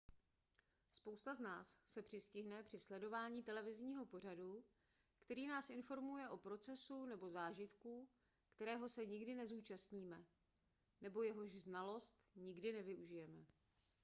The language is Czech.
spousta z nás se přistihne při sledování televizního pořadu který nás informuje o procesu nebo zážitku kterého se nikdy nezúčastníme nebo jehož znalost nikdy nevyužijeme